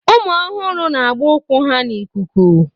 Ụmụ ọhụrụ na-agba ụkwụ ha n'ikuku